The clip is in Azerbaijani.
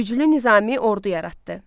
Güclü nizami ordu yaratdı.